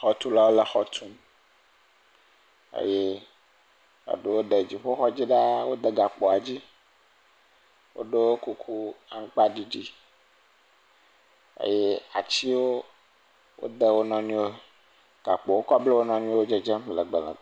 Xɔtulawo le xɔ tum eye eɖewo de dziƒoxɔ dzi ɖaa, wode gakpoa dzi, wodo kuku amakpaɖiɖi, eye atiwo wode wo nɔnɔwo, gakpo wokɔ bla wo nɔnɔewo le dzedzem legbe.